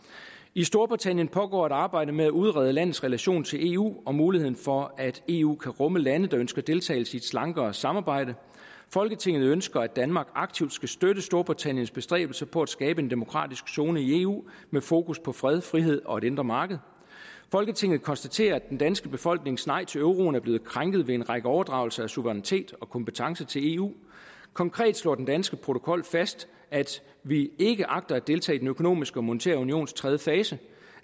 i storbritannien pågår et arbejde med at udrede landets relation til eu og muligheden for at eu kan rumme lande der ønsker deltagelse i et slankere samarbejde folketinget ønsker at danmark aktivt skal støtte storbritanniens bestræbelser på at skabe en demokratisk zone i eu med fokus på fred frihed og et indre marked folketinget konstaterer at den danske befolknings nej til euroen er blevet krænket ved en række overdragelser af suverænitet og kompetence til eu konkret slår den danske protokol fast at vi ikke agter at deltage i den økonomiske og monetære unions tredje fase